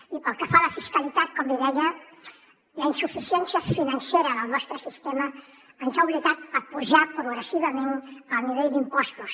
i pel que fa a la fiscalitat com li deia la insuficiència financera del nostre sistema ens ha obligat a apujar progressivament el nivell d’impostos